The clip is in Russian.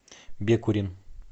бекурин